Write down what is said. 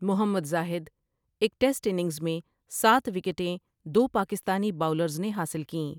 محمد زاہد ایک test innings میں سات وکٹیں دو پاکستانی باؤلرز نے حاصل کیں ۔